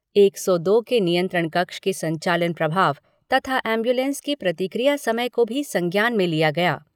एक सौ दो के नियंत्रण कक्ष के संचालन प्रभाव तथा एमब्यूलेंस के प्रतिक्रिया समय को भी संज्ञान में लिया गया।